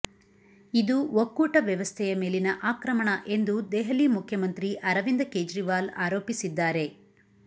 ಇದು ಒಕ್ಕೂಟ ವ್ಯವಸ್ಥೆಯ ಮೇಲಿನ ಆಕ್ರಮಣ ಎಂದು ದೆಹಲಿ ಮುಖ್ಯಮಂತ್ರಿ ಅರವಿಂದ ಕೇಜ್ರಿವಾಲ್ ಆರೋಪಿಸಿದ್ದಾರೆ